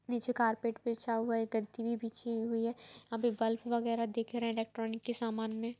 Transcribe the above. नीचे कारपेट बिछा हुआ है। एक गद्दी भी बिछी हुई है। यहाँ पर बल्फ वगेरा दिख रहे है इलेक्ट्रॉनिक के सामान में।